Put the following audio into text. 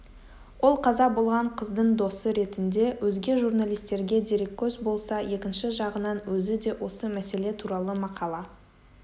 ол қаза болған қыздың досы ретінде өзге журналистерге дереккөз болса екінші жағынан өзі де осы мәселе туралы мақала